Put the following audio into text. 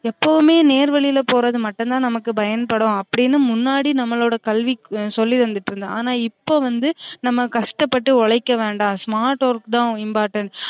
எப்பவுமே நேர் வழில போரது மட்டும் தான் நமக்கு பயன்படும் அப்டினு முன்னாடி நம்மளோட கல்வி சொல்லி தந்திட்டு இருந்தோம் ஆனா இப்ப வந்து நம்ம கஷ்டபட்டு உழைக்க வேண்டாம் smart work தான் important